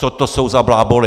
Co to jsou za bláboly?!